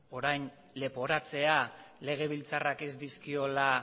orain leporatzea legebiltzarrak ez dizkiola